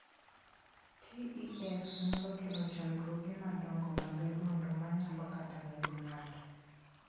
TEF nyalo kelo chandruoge madongo mag adundo ma nyalo kata nego ng'ato.